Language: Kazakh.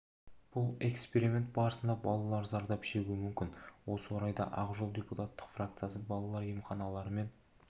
бұл эксперимент барысында балалар зардап шегуі мүмкін осы орайда ақ жол депутаттық фракциясы балалар емханалары мен